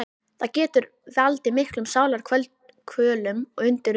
Það getur valdið miklum sálarkvölum og undið upp á sig.